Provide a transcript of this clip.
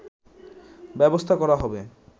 ব্যবস্থা করা হবে